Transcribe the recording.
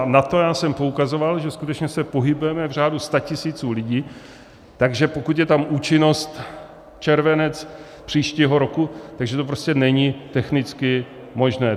A na to já jsem poukazoval, že skutečně se pohybujeme v řádu statisíců lidí, takže pokud je tam účinnost červenec příštího roku, tak že to prostě není technicky možné.